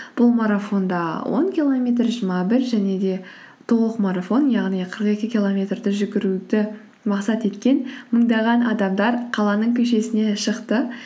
бұл марафонда он километр жиырма бір және де толық марафон яғни қырық екі километрді жүгіруді мақсат еткен мыңдаған адамдар қаланың көшесіне шықты